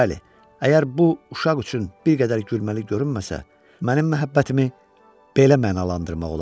Bəli, əgər bu uşaq üçün bir qədər gülməli görünməsə, mənim məhəbbətimi belə mənalandırmaq olar.